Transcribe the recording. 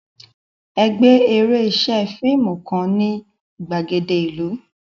Ẹgbẹ́ eré ṣe fíìmù kan ní ìgbàgede ìlú